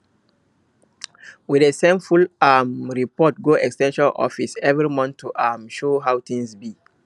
we dey send full um report go ex ten sion office every month to um show how things be